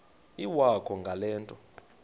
iwakho ngale nto